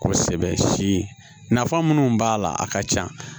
Kosɛbɛ si nafa munnu b'a la a ka ca